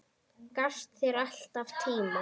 Gafst þér alltaf tíma.